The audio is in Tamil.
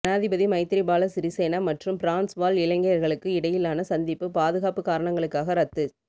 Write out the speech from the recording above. ஜனாதிபதி மைத்திரிபால சிறிசேன மற்றும் பிரான்ஸ் வாழ் இலங்கையர்களுக்கும் இடையிலான சந்திப்பு பாதுகாப்பு காரணங்களுக்காக இரத்துச்